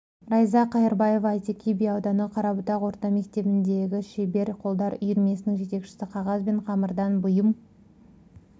райза қайырбаева әйтеке би ауданы қарабұтақ орта мектебіндегі шебер қолдар үйірмесінің жетекшісі қағаз бен қамырдан бұйым